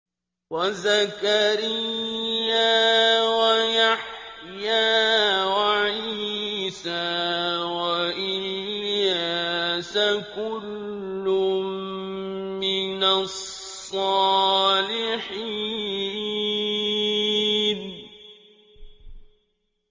وَزَكَرِيَّا وَيَحْيَىٰ وَعِيسَىٰ وَإِلْيَاسَ ۖ كُلٌّ مِّنَ الصَّالِحِينَ